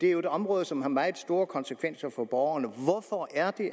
er jo et område som har meget store konsekvenser for borgerne hvorfor er det